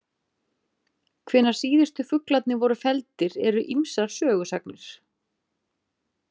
Hvenær síðustu fuglarnir voru felldir eru ýmsar sögusagnir.